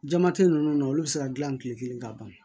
Jama tɛ ninnu na olu bɛ se ka dilan tile kelen ka ban